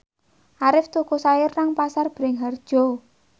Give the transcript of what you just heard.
Arif tuku sayur nang Pasar Bringharjo